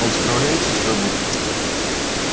он справляется с работой